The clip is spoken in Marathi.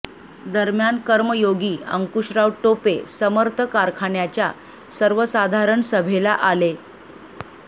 दरम्यान कर्मयोगी अंकुशराव टोपे समर्थ कारखान्याच्या सर्वसाधारण सभेला आ